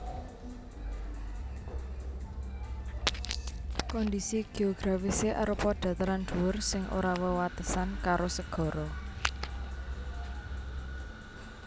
Kondhisi geografisé arupa dataran dhuwur sing ora wewatesan karo segara